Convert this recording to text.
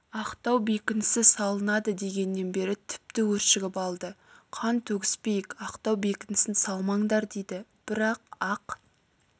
ақтау бекінісі салынады дегеннен бері тіпті өшігіп алды қан төгіспейік ақтау бекінісін салмаңдар дейді бірақ ақ